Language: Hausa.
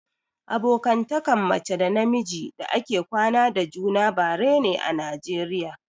Abokantakan mace da na miji da ake kwana da juna bare ne a najeriya